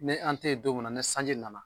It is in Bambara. Ni an te yen don mun ni sanji nana